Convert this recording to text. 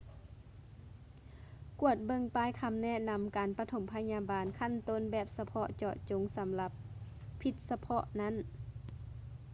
ກວດເບິ່ງປ້າຍຄຳແນະນຳການປະຖົມພະຍາບານຂັ້ນຕົ້ນແບບສະເພາະເຈາະຈົງສຳລັບພິດສະເພາະນັ້ນ